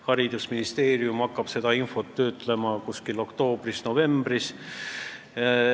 Haridusministeerium hakkab seda infot töötlema oktoobris-novembris.